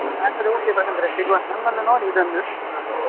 ಹಾಗಾದ್ರೆ okay ಪ್ರಶಾಂತ್ರೆ ಸಿಗ್ವ ನಂಗೊಂದು ನೋಡಿ ಇದೊಂದು ಅದ್ರದೊಂದು.